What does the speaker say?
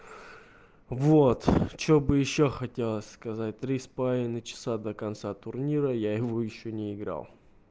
вот чтобы ещё хотелось сказать три с половиной часа до конца турнира я в него ещё не играл